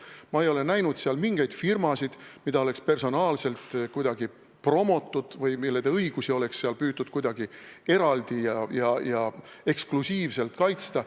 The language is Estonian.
Ma ei ole näinud seal mingeid firmasid, mida oleks kuidagi personaalselt promotud või mille õigusi oleks püütud kuidagi eraldi ja eksklusiivselt kaitsta.